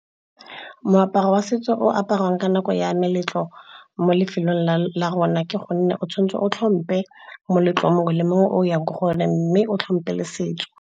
Moaparo wa setso o aparwang ka nako ya meletlo mo lefelong la rona ke gonne o tshwanetse o tlhompe moletlo mongwe le mongwe o yang go one, mme o tlhompe le setso.